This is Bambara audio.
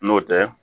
N'o tɛ